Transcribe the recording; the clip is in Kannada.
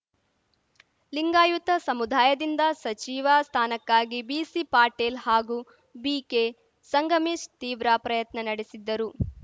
ಲಿಂಗಾಯುತ ಸಮುದಾಯದಿಂದ ಸಚಿವ ಸ್ಥಾನಕ್ಕಾಗಿ ಬಿಸಿ ಪಾಟೀಲ್‌ ಹಾಗೂ ಬಿಕೆ ಸಂಗಮೇಶ್‌ ತೀವ್ರ ಪ್ರಯತ್ನ ನಡೆಸಿದ್ದರು